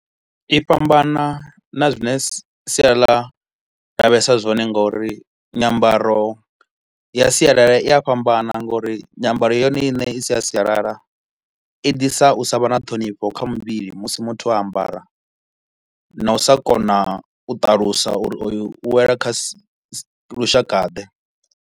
I fhambana na zwi ne sia ḽa lavhelesa zwone ngauri nyambaro ya sialala i a fhambana ngauri nyambaro yone ine i si ya sialala i ḓisa u sa vha na ṱhonifho kha muvhili musi muthu o ambara na u sa kona u ṱalusa uri oyu u wela kha lushakaḓe.